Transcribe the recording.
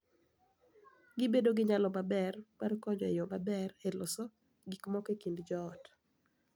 Gibedo gi nyalo maber mar konyo e yo maber e loso gik moko e kind joot.